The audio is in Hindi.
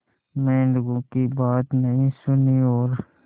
मेंढकों की बात नहीं सुनी और